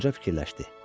Qoca fikirləşdi.